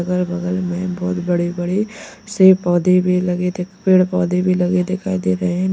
अगल बगल में बहोत बड़े बड़े से पौधे भी लगे दिख पेड़ पौधे भी लगे दिखाई दे रहे हैं।